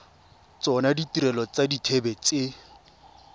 tsona ditirelo tsa dithibedi tse